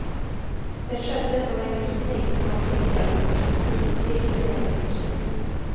Det skedde som en glidning från frigörelseperspektiv till fördelningsperspektiv.